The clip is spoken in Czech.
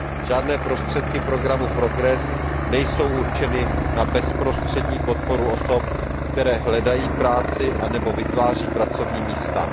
Žádné prostředky programu PROGRESS nejsou určeny na bezprostřední podporu osob, které hledají práci anebo vytváří pracovní místa..